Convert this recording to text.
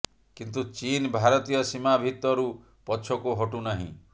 କିନ୍ତୁ ଚୀନ୍ ଭାରତୀୟ ସୀମା ଭିତରୁ ପଛକୁ ହଟୁ ନାହିଁ